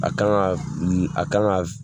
A kan ka a kan ka